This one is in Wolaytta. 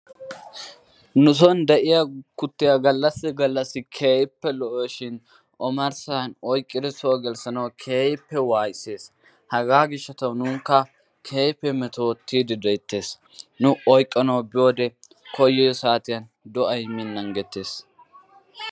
Nusoon de'iyaa kuttiyaa gallasi gallasi keehippe lo"awusushin omarssaan oyqqidi soo gelissanawu keehippe wasiysees. Hagaa giishshatawu nunkka keehippe metoottidi deettees. Nu oyqqanawu biyoo saatiyaan koyiyoo satiyaan do'ay miin nangettes.